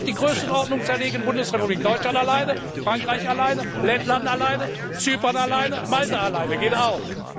Wir können uns auch auf die Größenordnung zerlegen Bundesrepublik Deutschland allein, Frankreich allein, Lettland allein, Zypern allein, Malta allein, das geht auch.